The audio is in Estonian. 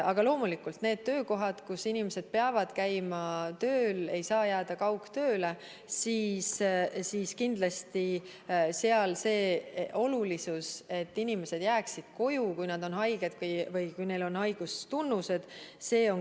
Aga loomulikult on nendes töökohtades, kus inimesed peavad käima tööl, st nad ei saa jääda kaugtööle, kindlasti oluline, et inimesed jääksid koju, kui nad on haiged või kui neil on haigustunnused.